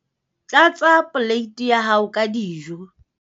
tlatsa poleiti ya hao ka dijo.